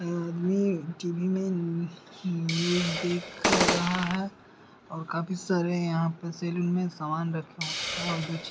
यह आदमी टी.वी. में न्यू न्यूज़ दे ख रहा है और काफी सारे यहाँ पे सलून में सामान रखे हुये हैं और कुछ --